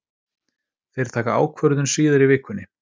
Þeir taka ákvörðun síðar í vikunni.